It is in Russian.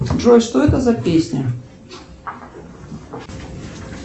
джой что это за песня